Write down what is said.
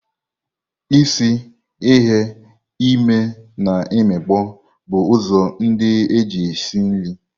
Isi, ighe, ime and imikpo bụ ụzọ ndị eji esi nri.